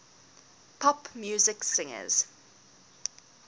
pop music singers